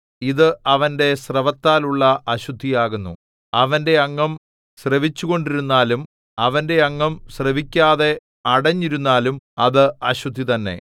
ഇത് അവന്റെ സ്രവത്താലുള്ള അശുദ്ധിയാകുന്നു അവന്റെ അംഗം സ്രവിച്ചുകൊണ്ടിരുന്നാലും അവന്റെ അംഗം സ്രവിക്കാതെ അടഞ്ഞിരുന്നാലും അത് അശുദ്ധി തന്നെ